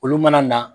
Olu mana na